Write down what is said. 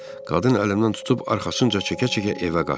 Qadın əlimdən tutub arxasınca çəkə-çəkə evə qaçdı.